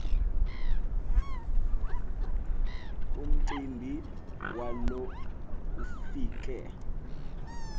umcimbi walo ufike